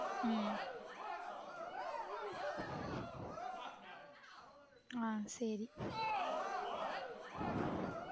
உம் ஆஹ் சேரி